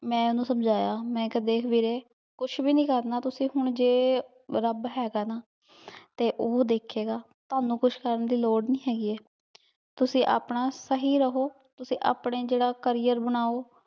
ਮੈਂ ਮੈਂ ਓਹਨੁ ਸਮਝਾਯਾ ਮੈਂ ਕੇਹਾ ਦੇਖ ਵੀਰੇ ਕੁਛ ਵੀ ਨਹੀ ਕਰਨਾ ਹੁਣ ਤੁਸੀਂ ਜੇ ਰਾਬ ਹੇਗਾ ਨਾ ਤੇ ਊ ਦੇਖੇ ਗਾ ਤਨੁ ਕੁਛ ਕਰਨ ਦੀ ਲੋਰ ਨਹੀ ਹੇਗੀ ਤੁਸੀਂ ਆਪਣਾ ਸਹੀ ਰਹੋ ਤੁਸੀਂ ਅਪਨੇ ਜੇਰਾ career ਬਨਓ